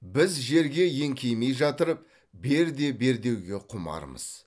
біз жерге еңкеймей жатырып бер де бер деуге құмармыз